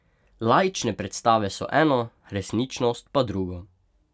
Laične predstave so eno, resničnost pa drugo.